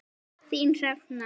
Þín Hrefna.